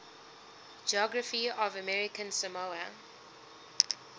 geography of american samoa